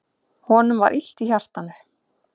Honum var illt í hjartanu.